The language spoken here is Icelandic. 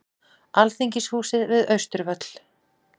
Alþingishúsið við Austurvöll.